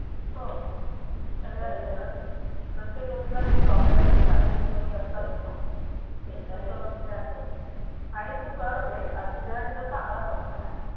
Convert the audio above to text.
हो प्रत्येक गोष्टीला Drawback आणि फायदे दोन्ही असतातच ना ते तर आहे आणि तू कर ते तुझ्या साठी तर चांगलं Option आहे